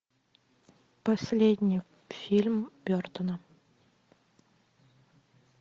последний фильм бертона